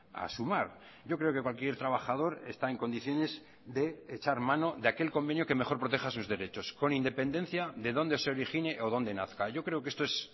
a sumar yo creo que cualquier trabajador está en condiciones de echar mano de aquel convenio que mejor proteja sus derechos con independencia de dónde se origine o dónde nazca yo creo que esto es